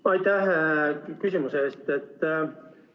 Aitäh küsimuse eest!